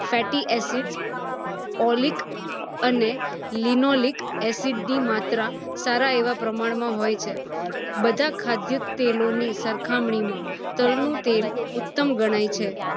fatty acid, olic અને linoleic acid ની માત્રા સારા એવા પ્રમાણ માં હોઈ છે બધ ખાદ્ય તેલો ની સરખામણી માં તલ નું તેલ ઉત્તમ ગણાય છે